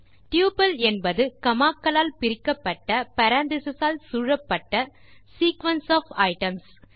tuple என்பது comma க்களால் பிரிக்கப்பட்ட பேரெந்தீசஸ் ஆல் சூழப்பட்ட சீக்வென்ஸ் ஒஃப் ஐட்டம்ஸ்